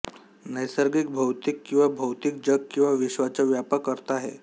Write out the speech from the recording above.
नैसर्गिक भौतिक किंवा भौतिक जग किंवा विश्वाचा व्यापक अर्थ आहे